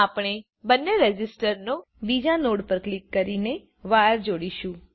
આપણે બંને રેઝિસ્ટરનો બીજો નોડ પર ક્લિક કરીને વાયર જોડીશું